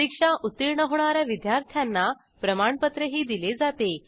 परीक्षा उत्तीर्ण होणा या विद्यार्थ्यांना प्रमाणपत्रही दिले जाते